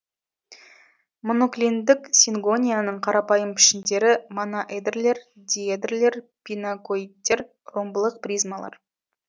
моноклиндік сингонияның қарапайым пішіндері моноэдрлер диэдрлер пинакоидтер ромбылық призмалар